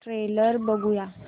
trailer बघूया